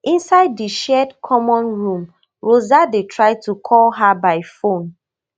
inside di shared common room rosa dey try to call her by phone